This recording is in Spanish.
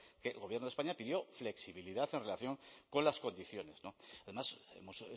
que el gobierno de españa pidió flexibilidad en relación con las condiciones además hemos